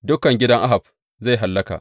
Dukan gidan Ahab zai hallaka.